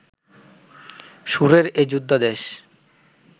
সুরের এই যোদ্ধা দেশ